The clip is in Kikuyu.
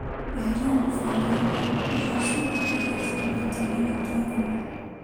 Eheria mũbango-inĩ irio ciothe iria ciambĩtie na rĩtwa nyũmũ.